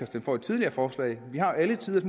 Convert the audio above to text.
stemt for et tidligere forslag vi har alle tiders